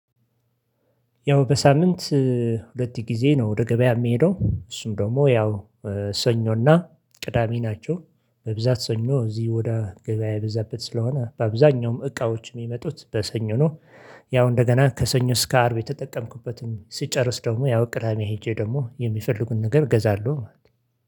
ያው በሳምንት ሁለት ጊዜ ነው ወደ ገበያ የምሄደው። እሱም ደግሞ ያው ሰኞና ቅዳሜ ናቸው በብዛት ሰኞ እዚህ ወደ ገበያ የበዛበት ስለሆነ በአብዛኛውም እቃዎች የሚመጡት በሰኞ ነው። ያው እንደገና ከሰኞ እስከ አርብ የተጠቀምኩበትም ሲጨርስ ደግሞ ያው ቅዳሜ ሄጄ ደግሞ የሚፈልጉን ነገር ገዛለሁ ማለት ነው